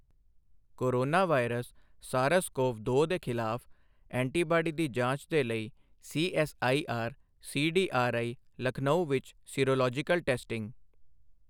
corona virus SARS CoV ਦੋ ਦੇ ਖ਼ਿਲਾਫ਼ ਐਂਟੀਬਾਡੀ ਦੀ ਜਾਂਚ ਦੇ ਲਈ ਸੀਐੱਸਆਈਆਰ ਸੀਡੀਆਰਆਈ, ਲਖਨਊ ਵਿੱਚ ਸੀਰੋਲੋਜੀਕਲ ਟੈਸਟਿੰਗ